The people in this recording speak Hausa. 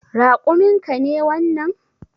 Raƙumin ka ne wannan?